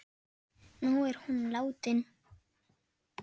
Nú er hún látin.